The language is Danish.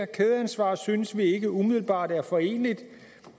kædeansvar synes vi ikke umiddelbart er foreneligt